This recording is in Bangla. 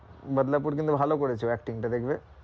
বাদলাপুর কিন্তু ভালো করেছি ও acting টা দেখবে,